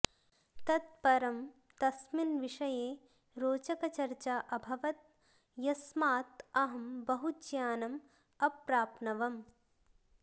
तत् परं तस्मिन् विषये रोचकचर्चा अभवत् यस्मात् अहं बहु ज्ञानम् अप्राप्नवम्